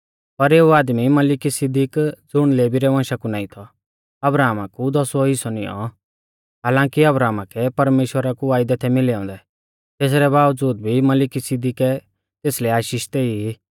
पर एऊ आदमी मलिकिसिदिक ज़ुण लेवी रै वंशा कु नाईं थौ अब्राहमा कु दौसूवौ हिस्सौ नियौं हालांकी अब्राहमा कै परमेश्‍वरा कु वायदै थै मिलै औन्दै तेसरै बावज़ूद भी मलिकिसिदिकै तेसलै आशीष देई